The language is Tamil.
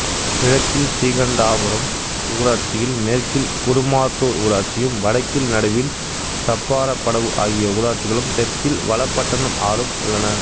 கிழக்கில் ஸ்ரீகண்டாபுரம் ஊராட்சியும் மேற்கில் குறுமாத்தூர் ஊராட்சியும் வடக்கில் நடுவில் சப்பாரப்படவு ஆகிய ஊராட்சிகளும் தெற்கில் வளபட்டணம் ஆறும் உள்ளன